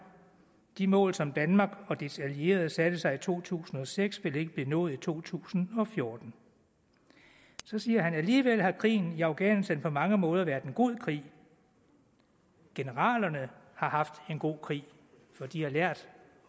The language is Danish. de mål som danmark og dets allierede satte sig i to tusind og seks vil ikke blive nået i to tusind og fjorten så siger han alligevel har krigen i afghanistan på mange måder været en god krig generalerne har haft en god krig for de har lært